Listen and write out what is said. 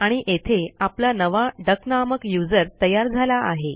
आणि येथे आपला नवा डक नामक यूझर तयार झाला आहे